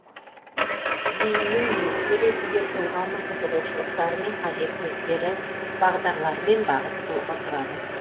ейіннің негізі ретінде тұлғаның қызығушылықтары мен қажеттіліктері бағдарлары мен бағыттылығы тұрады